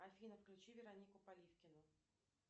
афина включи веронику поливкину